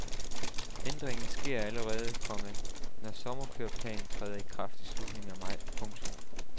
Ændringen sker allerede, komma når sommerkøreplanen træder i kraft i slutningen af maj. punktum